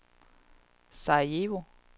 Sarajevo